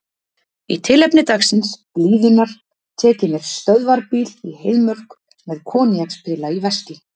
Í tilefni dagsins, blíðunnar, tek ég mér stöðvarbíl í Heiðmörk, með koníakspela í veski.